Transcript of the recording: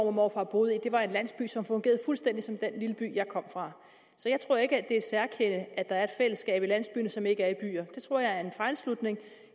og morfar boede i var en landsby som fungerede fuldstændig som den lille by jeg kom fra så jeg tror ikke det er et særkende at der er et fællesskab i landsbyer som ikke er i byer det tror jeg er en fejlslutning